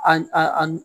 A a